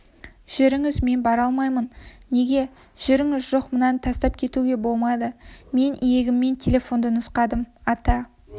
жүріңіз мен бара алмаймын неге жүріңіз жоқ мынаны тастап кетуге болмайды мен иегіммен телефонды нұсқадым ата